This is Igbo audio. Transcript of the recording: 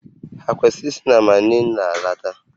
Ha kwesịrị isi na Manila lọta?